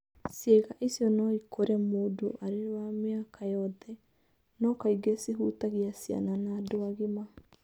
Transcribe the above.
Ciĩga icio no ikũre mũndũ arĩ wa mĩaka yothe, no kaingĩ cihutagia ciana na andũ agima.